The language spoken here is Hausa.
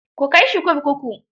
Ku kai shi kurkuku.